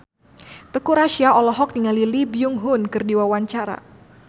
Teuku Rassya olohok ningali Lee Byung Hun keur diwawancara